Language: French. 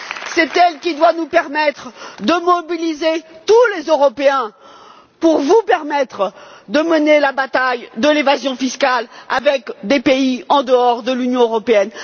C'est elle qui doit nous permettre de mobiliser tous les Européens pour que vous puissiez mener la bataille de l'évasion fiscale avec des pays en dehors de l'Union européenne.